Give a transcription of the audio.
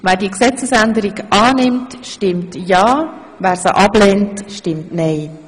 Wer diese Gesetzesänderung in erster und einziger Lesung annimmt, stimmt ja, wer das ablehnt, stimmt nein.